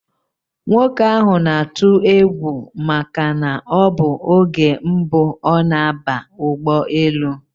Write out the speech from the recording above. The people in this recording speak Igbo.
Nwoke ahụ na-atụ egwu maka na ọbụ oge mbụ ọ na aba ụgbọ elu